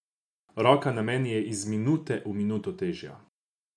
Roka na meni je iz minute v minuto težja.